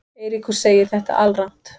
Eiríkur segir þetta alrangt.